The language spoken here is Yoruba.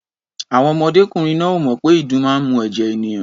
Àwọn ọmọdékùnrin náà ò mọ̀ pé ìdun máa ń mu ẹ̀jẹ̀ ènìyàn.